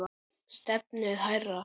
Stefnið hærra.